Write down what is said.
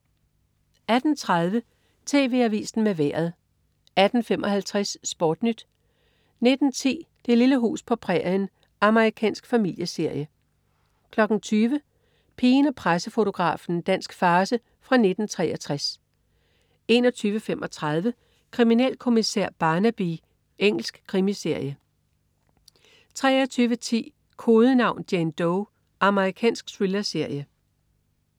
18.30 TV Avisen med Vejret 18.55 SportNyt 19.10 Det lille hus på prærien. Amerikansk familieserie 20.00 Pigen og pressefotografen. Dansk farce fra 1963 21.35 Kriminalkommissær Barnaby. Engelsk krimiserie 23.10 Kodenavn: Jane Doe. Amerikansk thrillerserie